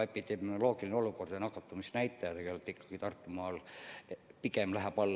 Epidemioloogiline olukord on selline, et nakatumisnäitajad Tartumaal pigem lähevad alla.